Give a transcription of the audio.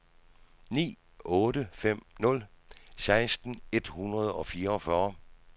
ni otte fem nul seksten et hundrede og fireogfyrre